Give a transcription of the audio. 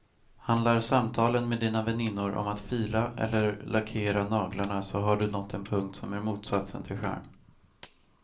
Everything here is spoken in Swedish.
Handlar samtalen med dina väninnor om att fila eller lackera naglarna så har du nått en punkt som är motsatsen till charm.